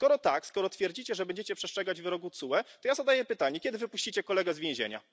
Skoro tak, skoro twierdzicie, że będziecie przestrzegać wyroków TSUE, to ja zadaję pytanie, kiedy wypuścicie kolegę z więzienia.